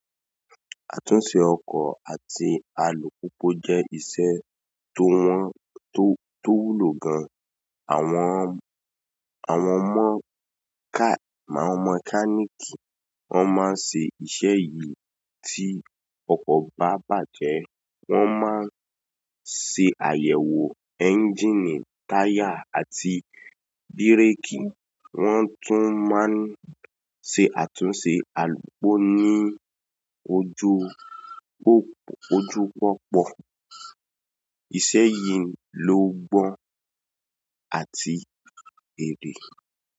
Àtúnṣe ọkọ̀ àti alùpùpù jẹ́ ìṣe tó wúlò gan-an. Àwọn mọ́kálíkì won máa ń ṣe iṣẹ̀ yìí tí ọkọ̀ bá bàjẹ́. Wọ́n máa ń ṣe àyẹ̀wò ẹ́ńjíìnì, táyà àti bírèkì. Wọ́n tún máa ń ṣe àtúnṣe alùpùpù ní ojúpópó. Iṣẹ́ yìí ló gbọ́n àti èrè.